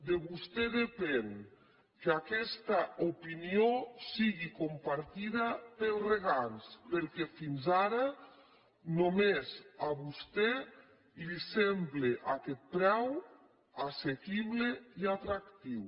de vostè depèn que aquesta opinió sigui compartida pels regants perquè fins ara només a vostè li sembla aquest preu assequible i atractiu